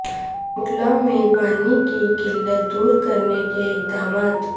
کورٹلہ میں پانی کی قلت دور کرنے کے اقدامات